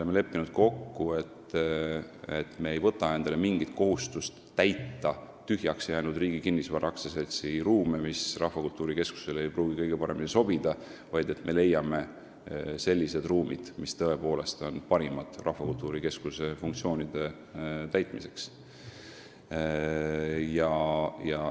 Me oleme kokku leppinud, et me ei võta endale mingit kohustust täita tühjaks jäänud Riigi Kinnisvara AS-i ruume, mis ei pruugi Rahvakultuuri Keskusele kõige paremini sobida, vaid me leiame sellised ruumid, mis on tõepoolest parimad keskuse funktsioonide täitmiseks.